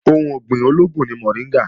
Ohun ọ̀gbìn olóògùn ni mọ̀ríngà